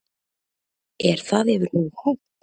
Er það yfir höfuð hægt?